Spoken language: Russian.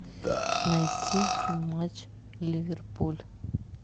найти матч ливерпуль